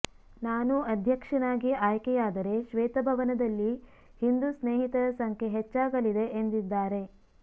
ನಾನು ಅಧ್ಯಕ್ಷನಾಗಿ ಆಯ್ಕೆಯಾದರೆ ಶ್ವೇತಭವನದಲ್ಲಿ ಹಿಂದೂ ಸ್ನೇಹಿತರ ಸಂಖ್ಯೆ ಹೆಚ್ಚಾಗಲಿದೆ ಎಂದಿದ್ದಾರೆ